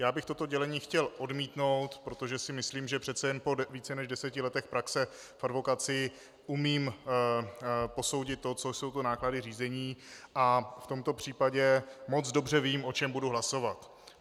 Já bych toto dělení chtěl odmítnout, protože si myslím, že přece jen po více než deseti letech praxe v advokacii umím posoudit to, co jsou to náklady řízení, a v tomto případě moc dobře vím, o čem budu hlasovat.